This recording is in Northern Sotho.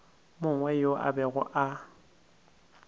mongwe yo a bego a